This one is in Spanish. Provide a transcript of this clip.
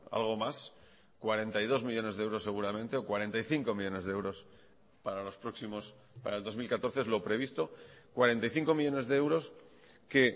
algo más cuarenta y dos millónes de euros seguramente o cuarenta y cinco millónes de euros para los próximos para el dos mil catorce es lo previsto cuarenta y cinco millónes de euros que